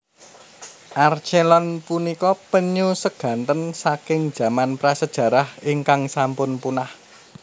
Archelon punika penyu seganten saking jaman prasejarah ingkang sampun punah